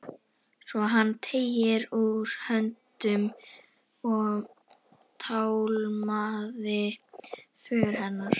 Svo hann teygði út höndina og tálmaði för hennar.